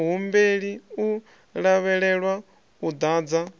muhumbeli u lavhelelwa u ḓadza